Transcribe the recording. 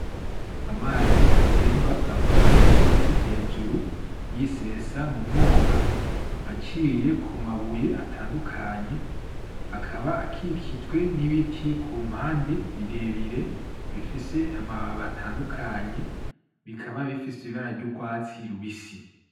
Amazi atemba ava ku musozi hejuru yisesa mumwonga aciye kumabuye atandukanye akaba akikijwe n'ibiti ku mpande birebire bifise amababi atandukanye bikaba bifise ibara ry'urwatsi rubisi.